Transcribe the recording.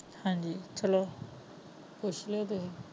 Haji hello